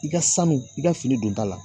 I ka sanu i ka fini don ta la